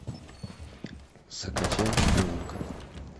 закачай шпионка